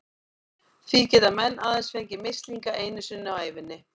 Því geta menn aðeins fengið mislinga einu sinni á ævinni.